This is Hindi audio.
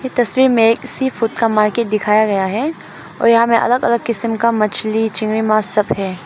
ये तस्वीर में किसी सीफूड का मार्केट दिखाया गया है और यहां में अलग अलग किस्म का मछली चिंगड़ी मांस सब है।